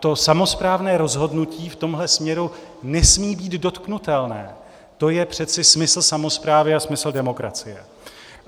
To samosprávné rozhodnutí v tomhle směru nesmí být dotknutelné, to je přece smysl samosprávy a smysl demokracie.